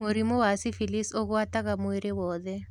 Mũrimũ wa syphilis ũgwataga mwĩrĩ wothe